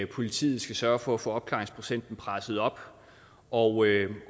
politiet skal sørge for at få opklaringsprocenten presset op og